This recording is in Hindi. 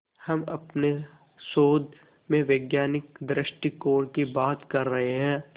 हम अपने शोध में वैज्ञानिक दृष्टिकोण की बात कर रहे हैं